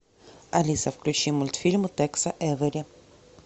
алиса включи мультфильмы текса эйвери